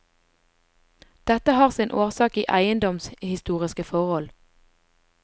Dette har sin årsak i eiendomshistoriske forhold.